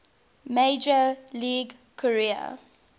major league career